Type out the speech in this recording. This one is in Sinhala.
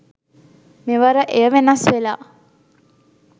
මෙවර එය වෙනස් වෙලා.